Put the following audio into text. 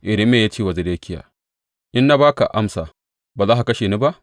Irmiya ya ce wa Zedekiya, In na ba ka amsa, ba za ka kashe ni ba?